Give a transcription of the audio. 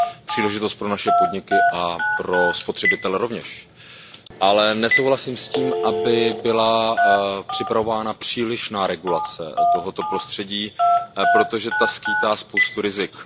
Příležitost pro naše podniky a pro spotřebitelé rovněž, ale nesouhlasím s tím, aby byla připravována přílišná regulace tohoto prostředí, protože ta skýtá spoustu rizik.